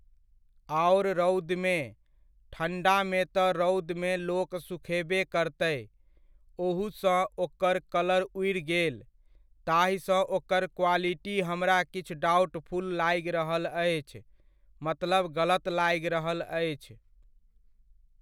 आओर रउदमे, ठण्डामे तऽ रउदमे लोक सुखेबे करतै, ओहुसँ ओकर कलर उड़ि गेल, ताहिसँ ओकर क्वालिटी हमरा किछु डाउटफुल लागि रहल अछि, मतलब गलत लागि रहल अछि।